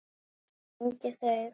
Og fengið þau.